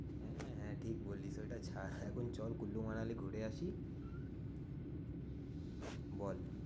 হ্যাঁ হ্যাঁ ঠিক বলিস ওইটা ছাড় এখন চল কুল্লু মানালি ঘুরে আসি। বল